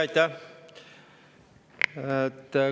Aitäh!